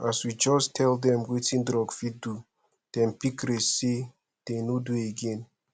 as we just tell dem wetin drug fit do dem pick race sey dey no do again